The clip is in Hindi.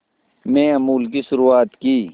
में अमूल की शुरुआत की